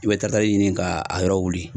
I bɛ tarakitari ɲini ka a yɔrɔ wuli.